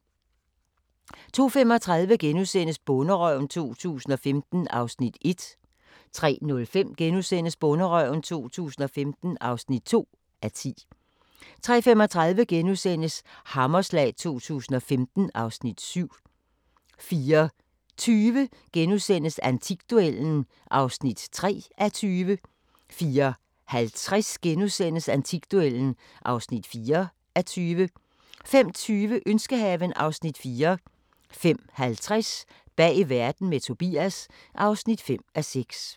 02:35: Bonderøven 2015 (1:10)* 03:05: Bonderøven 2015 (2:10)* 03:35: Hammerslag 2015 (Afs. 7)* 04:20: Antikduellen (3:20)* 04:50: Antikduellen (4:20)* 05:20: Ønskehaven (Afs. 4) 05:50: Bag verden – med Tobias (5:6)